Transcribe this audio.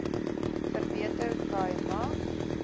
verbeter khai ma